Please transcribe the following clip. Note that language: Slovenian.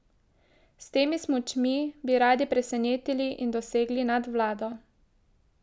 S temi smučmi bi radi presenetili in dosegli nadvlado.